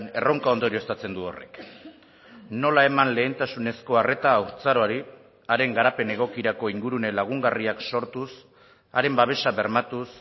erronka ondorioztatzen du horrek nola eman lehentasunezko arreta haurtzaroari haren garapen egokirako ingurune lagungarriak sortuz haren babesa bermatuz